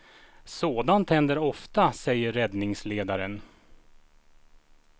Sådant händer ofta, säger räddningsledaren.